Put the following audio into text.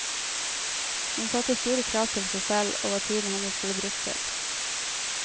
Hun satte store krav til seg selv og hva tiden hennes ble brukt til.